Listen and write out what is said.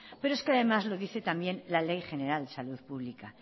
pero es que además lo dice también la ley general de salud pública